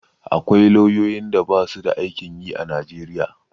Akwai lauyoyin da basu da aikin yi a Najeriya.